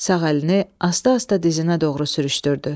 Sağ əlini asta-asta dizinə doğru sürüşdürdü.